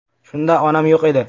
Shunda onam yo‘q edi.